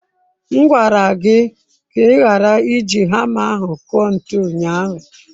M gwara gị ka ị ghara iji hama ahụ kụọ ntu ụnyahụ.